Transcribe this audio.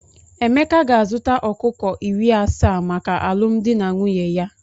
Emeka ga-azụta ọkụkọ iri asaa maka alụmdi na nwunye ya.